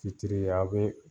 Fitiri ye aw be